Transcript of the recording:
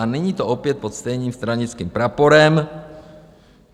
A není to opět pod stejným stranickým praporem?